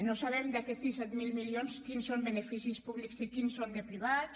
no sabem d’aquests disset mil milions quins són beneficis públics i quins són privats